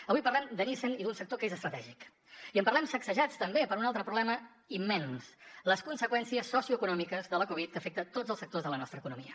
avui parlem de nissan i d’un sector que és estratègici en parlem sacsejats també per un altre problema immens les conseqüències socioeconòmiques de la covid que afecta tots els sectors de la nostra economia